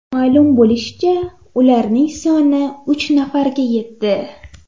Ma’lum bo‘lishicha, ularning soni uch nafarga yetdi.